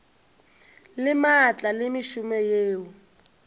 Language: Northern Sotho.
le maatla le mešomo yeo